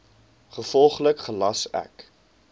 gevolglik gelas ek